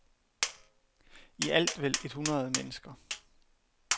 I alt vel et hundrede mennesker.